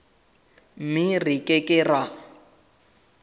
mme re ke ke ra